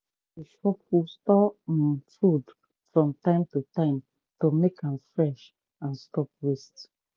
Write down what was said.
we dey shuffle stored um food from time to time to make am fresh and stop waste.